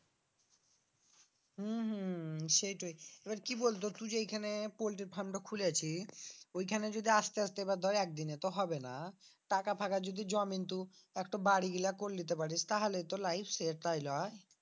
উম হম সেইটোই এবার কি বলতো তু যে এখানে পোল্টির farm টা খুলেছি ওইখানে যদি আসতে আসতে এবার ধর একদিনে তো হবে না টাকা ফাকা যদি জমেন তু একটো বাড়িগুলা কর লিতে পারিস তাহলে তো life set তাই লই?